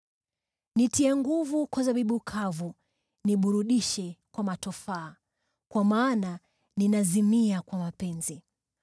Nitie nguvu kwa zabibu kavu, niburudishe kwa matofaa, kwa maana ninazimia kwa mapenzi.